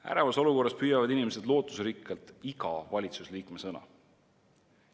Ärevas olukorras püüavad inimesed lootusrikkalt valitsuse iga liikme sõna.